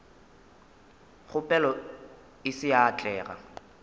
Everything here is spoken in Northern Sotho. kgopelo e se ya atlega